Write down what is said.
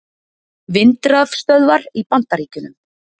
Vindrafstöðvar í Bandaríkjunum.